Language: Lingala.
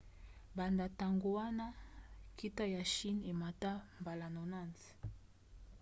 banda ntango wana nkita ya chine emata mbala 90